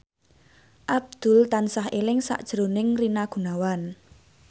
Abdul tansah eling sakjroning Rina Gunawan